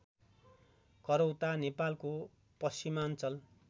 करौता नेपालको पश्चिमाञ्चल